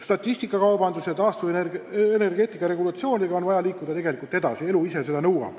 Statistikakaubanduse ja taastuvenergeetika regulatsioonidega on vaja edasi liikuda, elu ise nõuab seda.